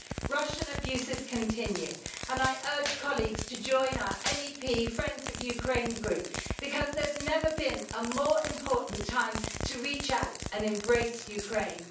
Russian abuses continue, and I urge colleagues to join our MEP Friends of Ukraine group, because there's never been a more important time to reach out and embrace Ukraine.